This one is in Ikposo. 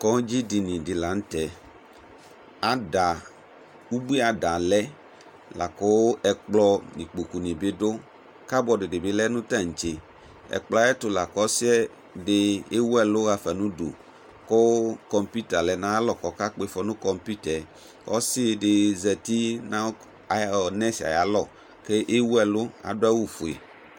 Kɔndzi dini di la nʋ tɛ Ada, ubui ada lɛ la kʋ ɛkplɔ nʋ ikpoku ni bi dʋ Kadibɔdʋ di lɛ nʋ tantse Ɛkplɔ yɛ ayɛtʋ la kʋ ɔsi di ewu ɛlʋ ɣafa nʋ udu kʋ kɔmpita lɛ nʋ ayalɔ kɔkakpɔ ifɔ nʋ kɔmpita ɛ Ɔsi di zati nʋ nɛsi ɛ ayalɔ kʋ ewu ɛlʋ kʋ adʋ awʋ fue